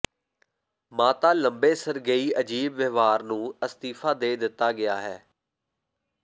ਮਾਤਾ ਲੰਬੇ ਸਰਗੇਈ ਅਜੀਬ ਵਿਵਹਾਰ ਨੂੰ ਅਸਤੀਫਾ ਦੇ ਦਿੱਤਾ ਗਿਆ ਹੈ